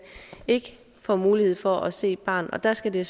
ikke får mulighed for at se barnet der skal det